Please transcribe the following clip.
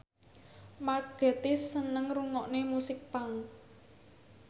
Mark Gatiss seneng ngrungokne musik punk